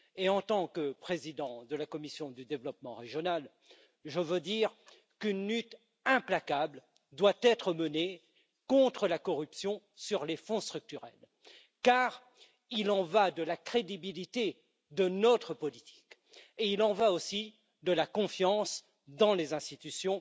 En tant que président de la commission du développement régional, je veux dire qu'une lutte implacable doit être menée contre la corruption sur les fonds structurels car il y va de la crédibilité de notre politique et il y va aussi de la confiance dans les institutions